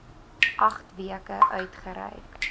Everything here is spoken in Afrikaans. agt weke uitgereik